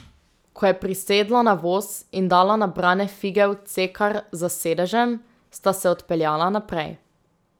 Ko je prisedla na voz in dala nabrane fige v cekar za sedežem, sta se odpeljala naprej.